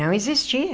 Não existia.